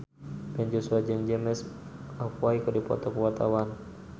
Ben Joshua jeung James McAvoy keur dipoto ku wartawan